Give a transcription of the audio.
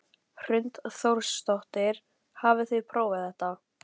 Hrund Þórsdóttir: Hafið þið prófað þetta?